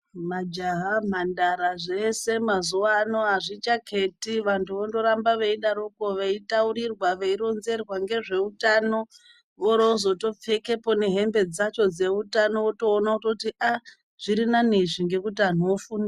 Majaha mhandara zveshe mazuva ano azvichaketi vantu voramba veidaroko veitaurirwa veironzerwa ngezveutano vorozoyopfekapo nehembe dzacho dzeutano votoona kuti zviri nane izvi nekuti vantu vofunda.